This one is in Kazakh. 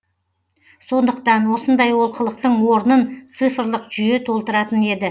сондықтан осындай олқылықтың орнын цифрлық жүйе толтыратын еді